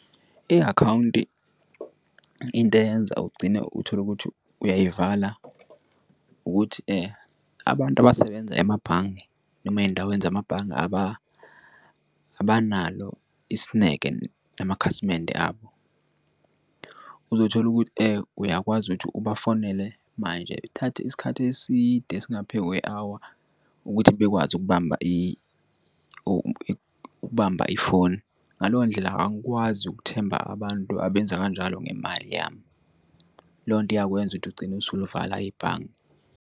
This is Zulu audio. I-akhawunti into eyenza ugcine utholukuthi uyayivala ukuthi abantu abasebenza emabhange noma ey'ndaweni zamabhange abanalo isineke namakhasimende abo. Uzothola ukuthi uyakwazi ukuthi ubafonele manje athathe isikhathi eside esingaphe kwe-hour ukuthi bekwazi ukubamba ukubamba ifoni ngaleyo ndlela angikwazi ukuthemba abantu abenza kanjalo ngemali yami leyo nto iyakwenza ukuthi ugcine usuyivala ibhange.